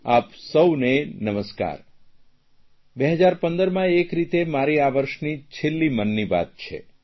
આપ સૌને નમસ્કાર 2015માં એક રીતે મારી આ વર્ષની છેલ્લી મનની વાત છે